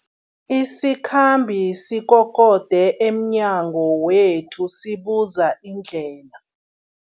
Isikhambi sikokode emnyango wethu sibuza indlela.